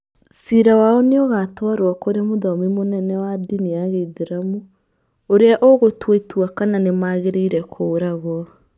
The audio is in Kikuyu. Ciira wao nĩ ũgaatwarũo kũrĩ Mũthomi mũnene wa ndini ya Gĩithĩramu, ũrĩa ũgũtua itua kana nĩ magĩrĩire kũũragwo.